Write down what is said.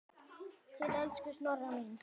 Til elsku Snorra míns.